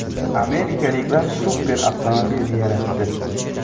Amerikaliklar super avtomobil yaratdi.